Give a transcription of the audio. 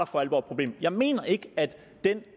for alvor et problem jeg mener ikke at de